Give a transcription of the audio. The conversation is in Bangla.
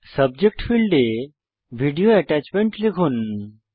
সাবজেক্ট ফীল্ডে ভিডিও অ্যাটাচমেন্ট লিখুন